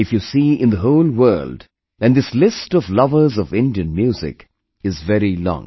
If you see in the whole world, then this list of lovers of Indian music is very long